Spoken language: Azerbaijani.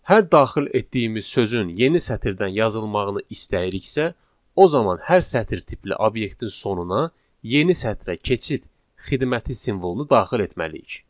Hər daxil etdiyimiz sözün yeni sətirdən yazılmağını istəyiriksə, o zaman hər sətr tipli obyektin sonuna yeni sətrə keçid xidməti simvolunu daxil etməliyik.